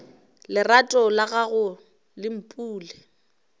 lerato la gagwe le mpule